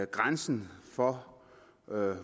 grænsen for